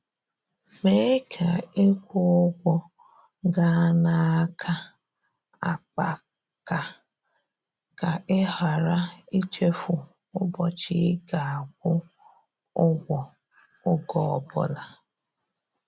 Mee ka ịkwụ ụgwọ gaa n'aka akpaka ka ị ghara ichefu ụbọchị ị ga-akwụ ụgwọ, ọge ọbụla.